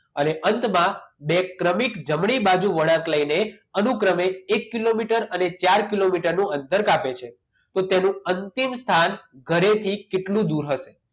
અને અંતમાં બે ક્રમિક જમણી બાજુ વળાંક લઈને અનુક્રમે એક કિલોમીટર અને ચાર કિલોમીટરનું અંતર કાપે છે તો તેનો અંતિમ સ્થાન ઘરેથી કેટલું દૂર હશે